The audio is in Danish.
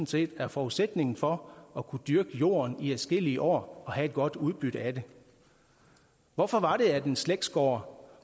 set er forudsætningen for at kunne dyrke jorden i adskillige år og have et godt udbytte af det hvorfor var det at en slægtsgård